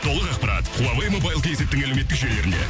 толық ақпарат хуавей мобайл кейзеттің әлеуметтік желілерінде